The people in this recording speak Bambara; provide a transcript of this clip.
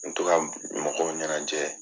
N mi to ka mɔgɔw ɲɛnajɛ